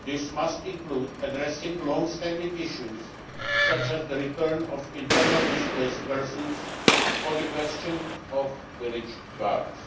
This must include addressing longstanding issues such as the return of internally displaced persons or the question of village guards.